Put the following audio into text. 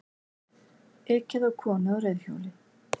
Ekið á konu á reiðhjóli